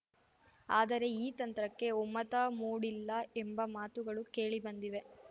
ಆದರೆ ಈ ತಂತ್ರಕ್ಕೆ ಒಮ್ಮತ ಮೂಡಿಲ್ಲ ಎಂಬ ಮಾತುಗಳು ಕೇಳಿ ಬಂದಿವೆ